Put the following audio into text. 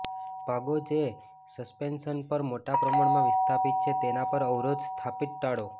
ભાગો જે સસ્પેન્શન પર મોટા પ્રમાણમાં વિસ્થાપિત છે તેના પર અવરોધ સ્થાપિત ટાળો